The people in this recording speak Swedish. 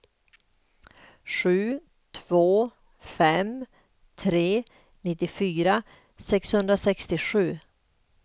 sju två fem tre nittiofyra sexhundrasextiosju